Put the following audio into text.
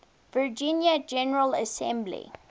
virginia general assembly